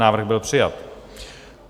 Návrh byl přijat.